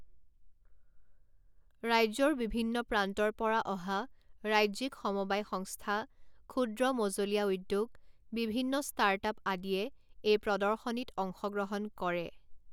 ৰাজ্যৰ বিভিন্ন প্ৰান্তৰ পৰা অহা ৰাজ্যিক সমবায় সংস্থা, ক্ষুদ্ৰ মঁজলীয়া উদ্যোগ, বিভিন্ন ষ্টাৰ্ট আপ আদিয়ে এই প্ৰদৰ্শনীত অংশগ্ৰহণ কৰে।